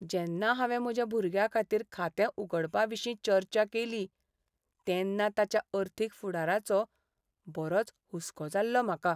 जेन्ना हांवें म्हज्या भुरग्याखातीर खातें उगडपाविशीं चर्चा केली, तेन्ना ताच्या अर्थीक फुडाराचो बरोच हुसको जाल्लो म्हाका.